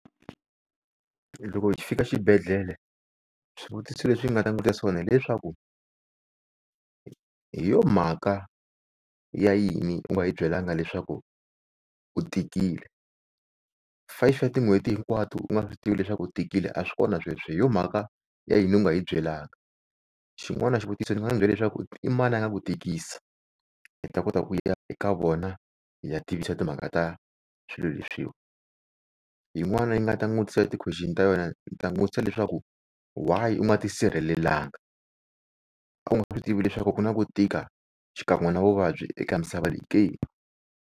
Loko hi fika xibedhlele swivutiso leswi nga ta n'wi vutisa swona hileswaku hi yo mhaka ya yini u nga hi byelaka leswaku u tikile, five ya tin'hweti hinkwato u nga swi tivi leswaku u tikile a swi kona sweswo. Hi yo mhaka ya yini u nga hi byelanga. Xin'wana xivutiso ndzi nga ndzi byela leswaku i mani a nga ku tikisi, hi ta kota ku ya eka vona hi ya tivisa timhaka ta swilo leswiwana. Yin'wana yi nga ta n'wi vutisa ya ti-question ta yona ndzi ta n'wi vutisa leswaku why u nga tisirhelelanga a wu nga swi tivi leswaku ku na ku tika xikan'we na vuvabyi eka misava leyi ke?